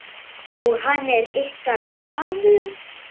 Og hann er ykkar maður.